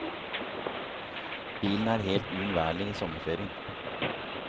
Bilen er helt uunnværlig i sommerferien.